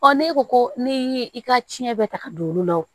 ne ko ko ne ye i ka tiɲɛ bɛɛ ta ka don olu la